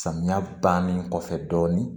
Samiya bannen kɔfɛ dɔɔnin